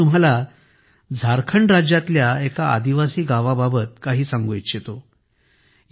आता मी तुम्हालाझारखंड राज्यातल्या एका आदिवासी गावाबाबत काही सांगू इच्छितो